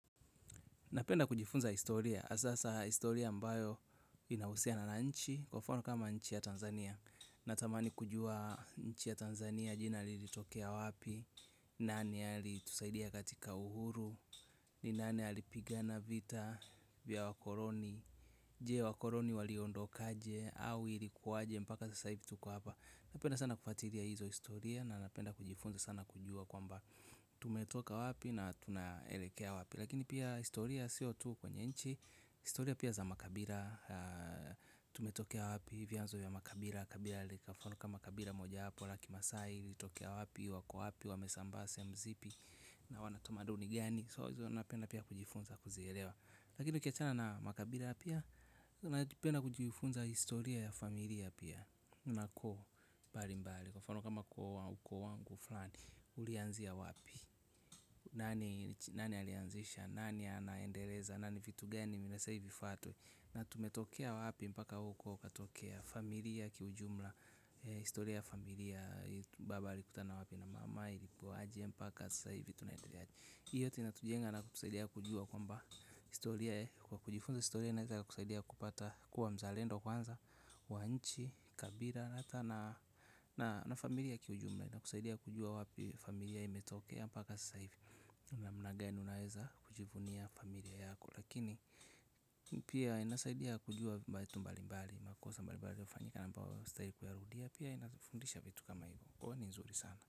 Napenda kujifunza historia, hasa hasa historia mbayo inahusia na nchi, kwa mfano kama nchi ya Tanzania. Natamani kujua nchi ya Tanzania jina lilitokea wapi, nani alitusaidia katika uhuru, nani alipigana vita vya wakoloni. Je, wakoloni waliondoka aje? Au ilikuwaje mpaka sasa hivi tuko hapa? Napenda sana kufuatilia hizo historia na napenda kujifunza sana kujua kwamba tumetoka wapi na tunaelekea wapi? Lakini pia historia sio tu kwenye nchi. Historia pia za makabila tumetokea wapi? Vyanzo ya makabila kabila kwa mfano kama kabila moja hapo la kimasai, litokea wapi? Wako wapi? Wamesambaa sehemu zipi? Na wanatumia duni gani? So napenda pia kujifunza kuzielewa. Lakini ukiachana na makabila pia napenda kujifunza historia ya familia pia kuna koo mbali mbali kwa mfano kama kwa wakwe wangu fulani ulianzia wapi? Nani alianzisha? Nani anaendeleza? Na ni vitu gani vinastahili vifuatwe? Na tumetokea wapi mpaka huku katokea familia kiujumla. Historia familia baba alikutana wapi na mama, ilikuwa aje mpaka sasa hivi tunaendelea. Hio ndio inatujenga na kusaidia kujua kwamba historia kwa kujifunza historia na kusaidia kupata kuwa mzalendo kwanza wa nchi, kabila na familia kiujumla na kusaidia kujua wapi familia imetokea mpaka sasa hivi. Unamna gani unaweza kujivunia familia yako, lakini pia inasaidia kujua makosa mbali mbali yanayofanyika na wapi wastahili kuyarudia pia inafundisha vitu kama hivi, huwa ni nzuri sana.